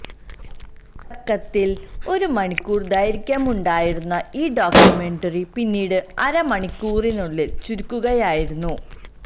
തുടക്കത്തിൽ ഒരുമണിക്കൂർ ദൈർഘ്യമുണ്ടായിരുന്ന ഈ ഡോക്യുമെന്ററി പിന്നീട് അര മണിക്കൂറിനുള്ളിൽ ചുരുക്കുകയായിരുന്നു